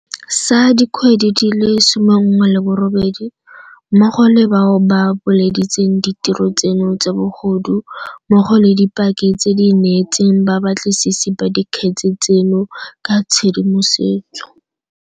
Sa dikgwedi di le 18, mmogo le bao ba buleditseng ditiro tseno tsa bogodu mmogo le dipaki tse di neetseng babatlisisi ba dikgetse tseno ka tshedimosetso.